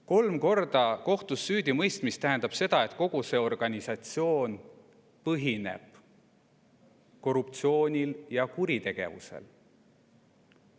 Kolm korda kohtus süüdi mõistmine tähendab seda, et kogu see organisatsioon põhineb korruptsioonil ja kuritegevusel.